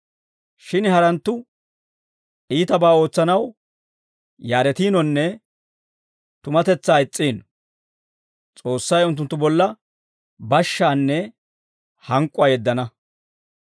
Shin haranttu iitabaa ootsanaw yaaretiinonne tumatetsaa is's'iino; S'oossay unttunttu bolla bashshaanne hank'k'uwaa yeddana.